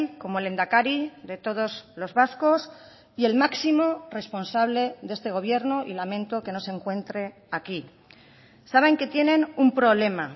como lehendakari de todos los vascos y el máximo responsable de este gobierno y lamento que no se encuentre aquí saben que tienen un problema